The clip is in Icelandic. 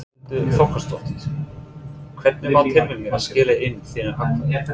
Þórhildur Þorkelsdóttir: Hvernig var tilfinningin að skila inn þínu atkvæði?